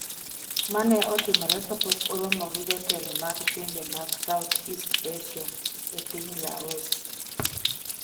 Mae ne otimore kapok oromo gi jotelo mag pinje mag South East Asia, e piny Laos.